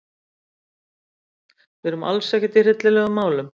Við erum alls ekkert í hryllilegum málum.